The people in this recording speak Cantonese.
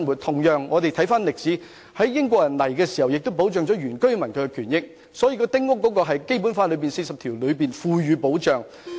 同樣，在英國管治時期，亦對原居民的權益作出保障，《基本法》第四十條亦賦予保障。